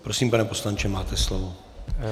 Prosím, pane poslanče, máte slovo.